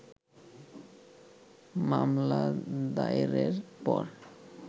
মামলা দায়েরের পর